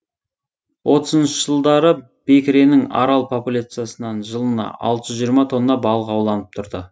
отызыншы жылдары бекіренің арал популяциясынан жылына алты жүз жиырма тонна балық ауланып тұрды